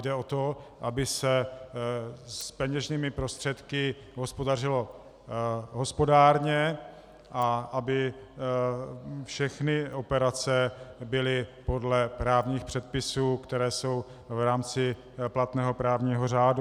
Jde o to, aby se s peněžními prostředky hospodařilo hospodárně a aby všechny operace byly podle právních předpisů, které jsou v rámci platného právního řádu.